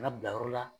Kana bila yɔrɔ la